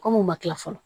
Kom'u ma kila fɔlɔ